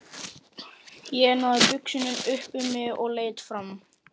Ég náði buxunum upp um mig og leit fram.